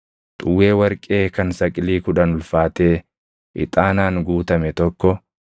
xuwwee warqee kan saqilii kudhan ulfaatee ixaanaan guutame tokko,